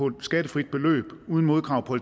et skattefrit beløb uden modkrav på